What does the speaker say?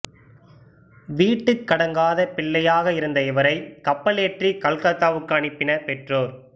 வீட்டுக்கடங்காத பிள்ளையாக இருந்த இவரைக் கப்பலேற்றிக் கல்கத்தாவுக்கு அனுப்பினர் பெற்றோர்